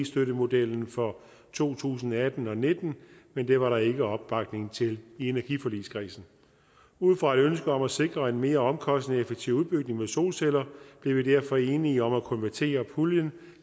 støttemodellen for to tusind og atten og nitten men det var der ikke opbakning til i energiforligskredsen ud fra et ønske om at sikre en mere omkostningseffektiv udbygning med solceller blev vi derfor enige om at konvertere puljen